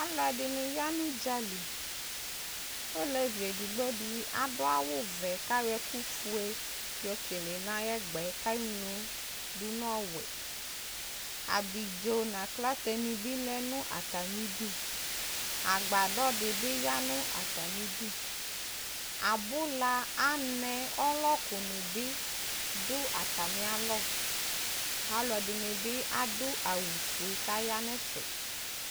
aluɛ ɛdini ya nu dza li olévi digbo di adu awu vɛ ka yɔ ɛku fué yokélé na ayɛgbɛ kanu du nu ɔwɛ abidzo na aklaté ni bi lɛnu atami du agbadɔ di bi yanu atami du abula anɛ ɔlɔkuni bi du atamia lɔ alu ɛdini bi adu awu fué ka ya nɛfɛ